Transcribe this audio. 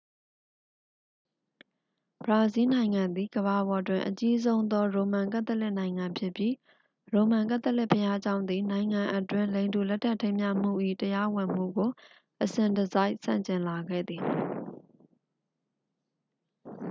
ဘရာဇီးနိုင်ငံသည် ကမ္ဘာပေါ်တွင် အကြီးဆုံးသော ရိုမန်ကက်သလစ်နိုင်ငံဖြစ်ပြီး ရိုမန်ကက်သလစ်ဘုရားကျောင်းသည် နိုင်ငံအတွင်း လိင်တူလက်ထပ်ထိမ်းမြှားမှု၏ တရားဝင်မှုကို အစဉ်တစိုက် ဆန့်ကျင်လာခဲ့သည်